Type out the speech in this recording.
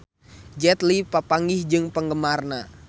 Jet Li papanggih jeung penggemarna